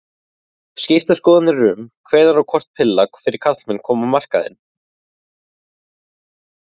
Skiptar skoðanir eru um hvenær og hvort pilla fyrir karlmenn komi á markaðinn.